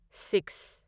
six